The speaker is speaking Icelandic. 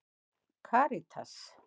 Karítas